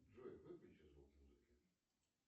джой выключи звук музыки